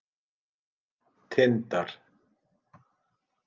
Tindar